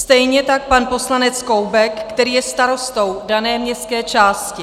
Stejně tak pan poslanec Koubek, který je starostou dané městské části.